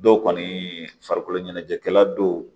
Dɔw kɔni farikolo ɲɛnajɛkɛla do